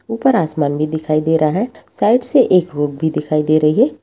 ऊपर आसमान भी दिखाई दे रहा है साइड से एक भी दिखाई दे रही है।